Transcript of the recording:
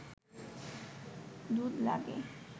দুধ লাগে